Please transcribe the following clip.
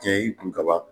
Tiɲɛ kun kaba